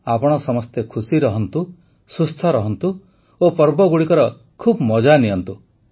ଆପଣ ସମସ୍ତେ ଖୁସି ରୁହନ୍ତୁ ସୁସ୍ଥ ରହନ୍ତୁ ଓ ପର୍ବଗୁଡ଼ିକର ଖୁବ୍ ମଜା ନିଅନ୍ତୁ